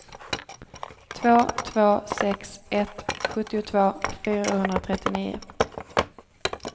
två två sex ett sjuttiotvå fyrahundratrettionio